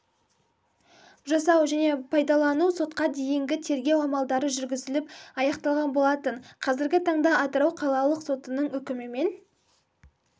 жасау және пайдаланусотқа дейінгі тергеу амалдары жүргізіліп аяқталған болатын қазіргі таңда атырау қалалық сотының үкімімен